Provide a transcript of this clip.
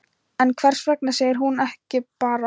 En hvers vegna segir hún ekki bara